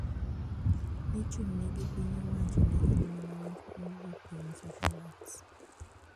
Ni ichung`ne gi piny owacho ne en mana wach mowuok kuom socialists